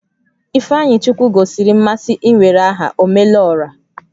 Ifeanyichukwu gosiri mmasị iwere aha "Omelora"